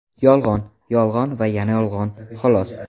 Yolg‘on, yolg‘on va yana yolg‘on, xolos.